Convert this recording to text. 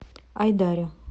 айдаре